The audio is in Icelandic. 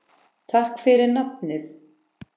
Takk fyrir nafnið.